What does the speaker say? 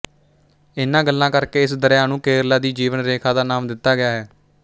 ਇਨ੍ਹਾਂ ਗੱਲਾਂ ਕਰਕੇ ਇਸ ਦਰਿਆ ਨੂੰ ਕੇਰਲਾ ਦੀ ਜੀਵਨ ਰੇਖਾ ਦਾ ਨਾਮ ਦਿੱਤਾ ਗਿਆ ਹੈ